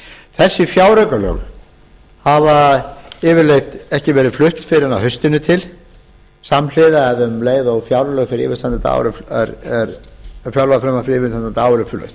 þessi fjáraukalög hafa yfirleitt ekki verið flutt fyrr en á haustinu til samhliða um leið og fjárlagafrumvarp fyrir yfirstandandi ár er flutt